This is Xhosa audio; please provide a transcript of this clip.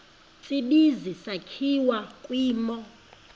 tsibizi sakhiwa kwimo